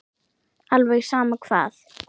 Alveg sama hvað.